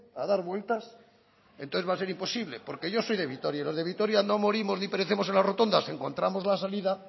a dar vueltas entonces va a ser imposible porque yo soy de vitoria y los de vitoria no morimos ni perecemos en las rotondas encontramos la salida